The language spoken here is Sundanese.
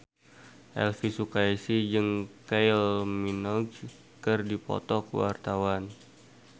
Elvy Sukaesih jeung Kylie Minogue keur dipoto ku wartawan